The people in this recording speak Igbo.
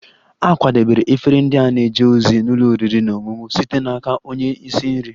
A kwadebere efere ndị a na-eje ozi n'ụlọ oriri na ọṅụṅụ site n'aka onye isi nri